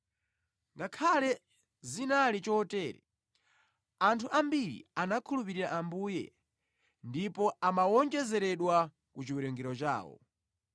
Ngakhale zinali chotere, anthu ambiri anakhulupirira Ambuye ndipo amawonjezeredwa ku chiwerengero chawo.